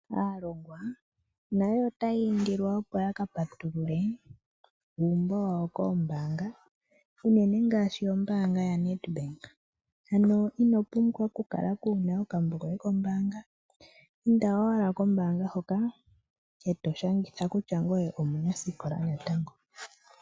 Aalongwa nayo otaya indilwa opo ya ka patulule uumbo wawo koombanga uunene ngaashi ombaanga yaNEDBANK ano ino pumbwa ku kala waana okambo koye kombaanga ,inda owala kombaanga hoka eto popi kutya ngoye omunasikola natango.